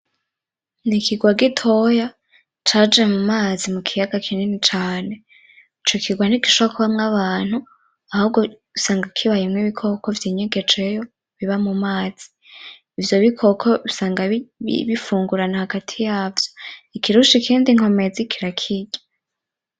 N'ikigwa gitoya caje mu mazi, mu kiyaga kinini cane. Ico kigwa ntigishobora kubamwo abantu, ahubwo usanga kibayemwo ibikoko vy’inyegejeyo biba mu mazi. Ivyo bikoko usanga bifungurana hagati yavyo, ikirusha ikindi inkomezi kirakirya.